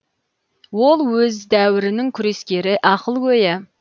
ол өз дәуірінің күрескері ақылгөйі